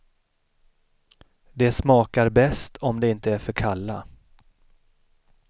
De smakar bäst om de inte är för kalla.